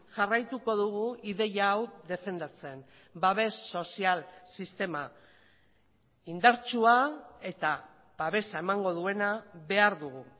jarraituko dugu ideia hau defendatzen babes sozial sistema indartsua eta babesa emango duena behar dugu